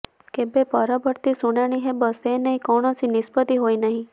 କେବେ ପରବର୍ତ୍ତୀ ଶୁଣାଣି ହେବ ସେନେଇ କୌଣସି ନିଷ୍ପତ୍ତି ହୋଇନାହିଁ